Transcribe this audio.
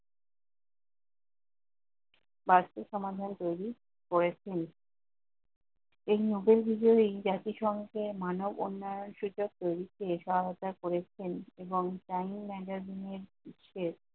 বার্ষিক সমাধান তৈরী করেছেন। এই লোকের ভেতরেই জাতিসংঘের মানব উন্নয়ন শিখে প্রবৃত্তি এ সহায়তা করেছেন এবং timing management এর বিষয়ে